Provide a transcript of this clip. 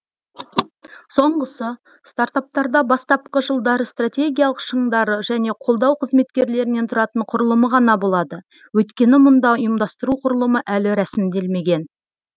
соңғысы стартаптарда бастапқы жылдары стратегиялық шыңдары және қолдау қызметкерлерінен тұратын құрылымы ғана болады өйткені мұнда ұйымдастыру құрылымы әлі рәсімделмеген